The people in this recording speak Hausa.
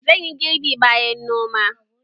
Zan yi girbi bayan noma